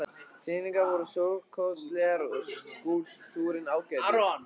Teikningarnar voru stórkostlegar og skúlptúrinn ágætur.